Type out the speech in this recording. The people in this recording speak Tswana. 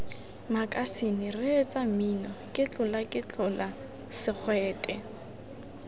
makasine reetsa mmino ketlolaketlola segwete